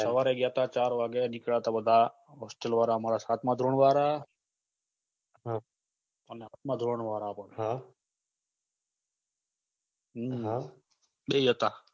સવારે ગયા તા ચાર વાગે નીકળ્યા તા બધા hostel વાળા અમારા સાતમાં ધોરણ વાળા અને આઠમાં ધોરણ વાળા બે જ હતા